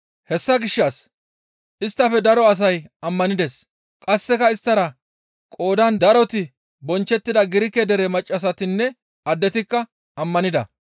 Hessa gishshas isttafe daro asay ammanides; qasseka isttara qoodan daroti bonchchettida Girike dere maccassatinne addetikka ammanida.